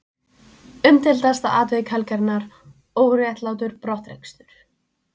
Umdeildasta atvik helgarinnar: Óréttlátur brottrekstur?